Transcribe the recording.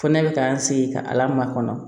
Fɔ ne bɛ ka n sigi ka ala makɔnɔ